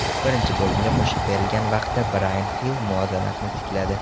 Birinchi bo‘limga qo‘shib berilgan vaqtda Brayan Hil muvozanatni tikladi.